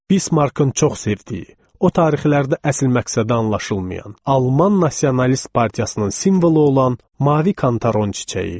Bismarkın çox sevdiyi, o tarixlərdə əsl məqsədi anlaşılmayan alman nasionalist partiyasının simvolu olan mavi kantaron çiçəyi.